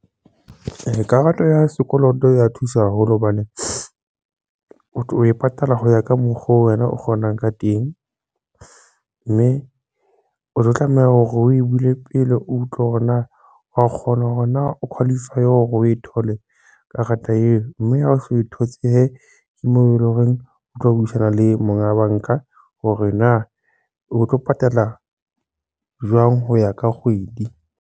Karata ya sekoloto ya thusa haholo hobane o tlo e patala ka mokgo wena o kgonang ka teng mme o tlo tlameha hore o e bule pele o utlwe hore na wa kgona hore na o qualify hore o e thole karata eo, mme ha o so thotse hee ke moo eleng horeng o tlo buisana le monga banka hore na o tlo patala jwang ho ya ka kgwedi.